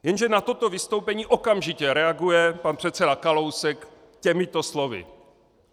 Jenže na toto vystoupení okamžitě reaguje pan předseda Kalousek těmito slovy.